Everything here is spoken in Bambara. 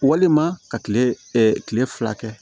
Walima ka kile kile fila kɛ